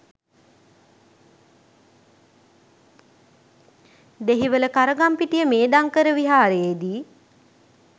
Dehiwala Karagampitiya Medhankara විහාරයේදී